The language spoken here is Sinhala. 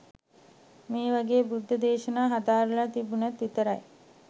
මේ වගේ බුද්ධ දේශනා හදාරලා තිබුනොත් විතරයි